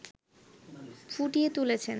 ফুটিয়ে তুলেছে